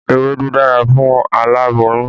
Ewédú dára fún aláboyún